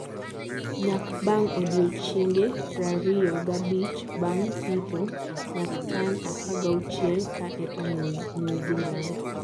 Nyak bang odiochienge prariyo gabich bang pitho- Nyak tan apagauchiel ka eka New Zealand